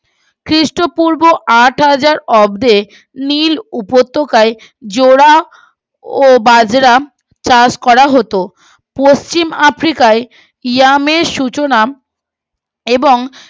খ্রীষ্ট পূর্ব আট হাজার অর্ধে নীল উপত্যকায় জোড়া ও বাজরা চাষ করা হতো পচিম আফ্রিকায় ইরমেমের সূচনা এবং